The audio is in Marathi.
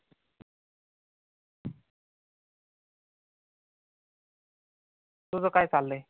तुझ काय चाललंय?